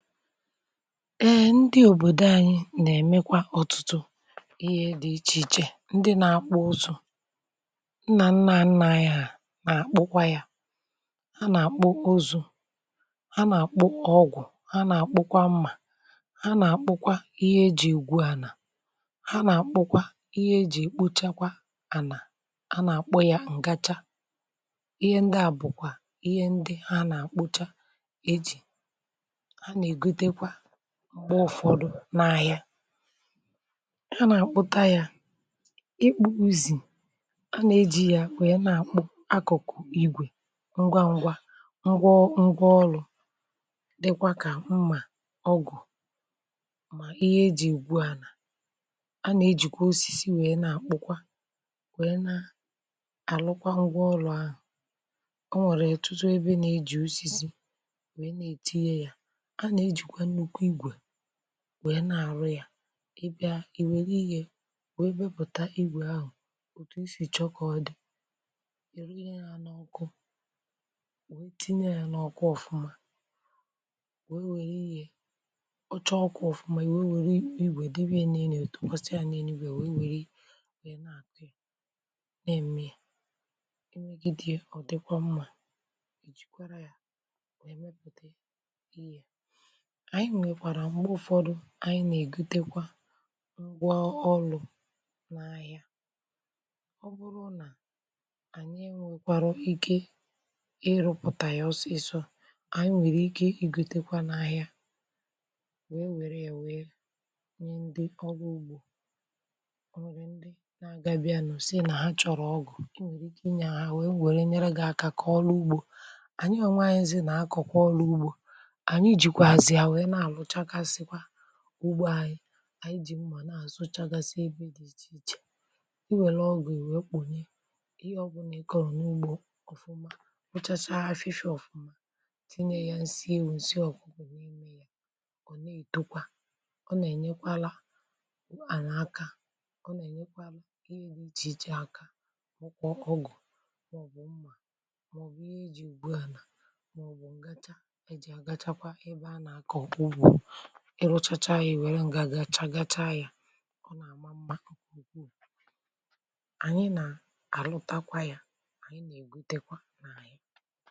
Ehh ndị òbòdo anyị nà-èmekwa ọtụtụ ihe dị ichè ichè, ndị nȧ-ȧkpụ̇ ụzọ̇, nnà nnà a nnà anyi ha nà-àkpụkwa ya, ha nà-àkpụ ụzọ̇, ha nà-àkpụ ọgwụ̀, ha nà-àkpụkwa mmà, ha nà-àkpụkwa ihe ejì ìgwu ana, ha nà-àkpụkwa ihe ejì kpochakwa ànà, ha nà-àkpụ ya ǹgacha, ihe ndị a bùkwa ihe ndị ha nà-àkpụcha ejì ana egọtekwa m̀gbe ụfọdụ n’ahịa ya nà-àkpụta ya. ikpu uzì, a nà-ejì ya wèe na-àkpụ akụ̀kụ̀ igwè ngwa ngwa ngwaọlụ̇ dikwa kà mmà, ọgụ̀, mà ihe ejì ùgwù ànà. a nà-ejìkwa osisi wèe na-àkpụkwa wèe na -àrụkwa ngwa ọlụ̇ ahụ̀. o nwèrè etutu ebe na-ejì osisi nwe na etịnye ya, a na ejikwe nnụkwụ ịgwe nwèè na-àrụ ya, ị bịa ì we gaa ihe wee mepụ̀ta igwè ahụ̀ òtù i sì chọkọ̇ dị ị̀, ruo ihe a n’ọkụ, wee tinye ya n’ọkụ ọfụma, wee nwere ihe ọ chọọ ọkụ ọfụma, ihe wee nwere igwè debe ya na-enye tụkwasi ya na-enye igwè wee nwere ị na-àtụ ị na-ème i negidi ọ̀dịkwa mmȧ ì jìkwara ya. Ànyị nwèkwàrà m̀gbe ụ̀fọdụ ànyị nà-ègutekwa m̀gwà ọlụ̇ n’ahịa, ọ bụrụ nà ànyị m̀ nkwarọ ike ịrụ̇pụ̀tà ya ọsọ ịsọ ànyị nwèrè ike igutekwa n’ahịa, wèe wère ya wèe nye ndị ọrụ ugbȯ. o nwèrè ndị na-agabịànụ sị nà ha chọ̀rọ̀ ọgụ̀, o nwèrè ike ị nyà ha wèe wère nyere gị akȧ kà ọrụ ugbȯ, ànyị e nwaanyị ndị nà-akọ̀kọ ọrụ ugbȯ ugbȯ, anyi anyi ji mma na-asụchagasị ebe dị iche ichè. iwelụ ọgụ̀ i wee kpùnye ihe ọbụna ike ọrụ̀ n’ugbȯ ọ̀fụma, wụchachaa ha fishi ọ̀fụma, tinye ya nsị ewensị ọ̀kụkụ wụ̀ ime ya, ọ̀ n’etokwa, ọ nà-enyekwala ànà aka, ọ nà-enyekwala ihe dị iche iche aka. ọ kwọ ọgụ̀ mọ̀bụ mma mọ̀bụ ihe iji̇ gbuànà mọ̀bụ ǹgacha eji àgachakwa ebe a nà-aka ọkụkụ ịrụchacha anyị nwere ngȧ gachaa gachaa yȧ. ọ nà-àma mba okpokwo ànyị nà àlụtakwa ya, ànyị nà-ègbute kwa n’àhịa.